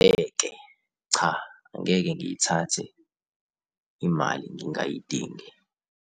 Ngeke. Cha, angeke ngiyithathe imali ngingayidingi.